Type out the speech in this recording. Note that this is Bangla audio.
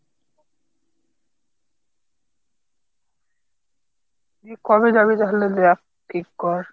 তুই কবে যাবি তাহলে দেখ ঠিক কর।